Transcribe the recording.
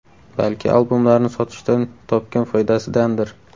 Balki albomlarini sotishdan topgan foydasidandir?